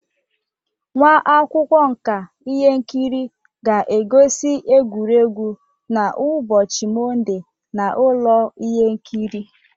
Nwa akwụkwọ nka ihe nkiri ga-egosi egwuregwu n'ụbọchị Mọnde na ụlọ ihe nkiri.